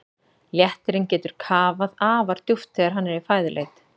Léttirinn getur kafað afar djúpt þegar hann er í fæðuleit.